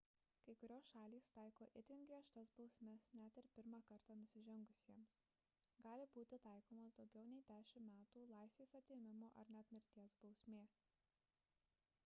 kai kurios šalys taiko itin griežtas bausmes net ir pirmą kartą nusižengusiems gali būti taikomos daugiau nei 10 metų laisvės atėmimo ar net mirties bausmė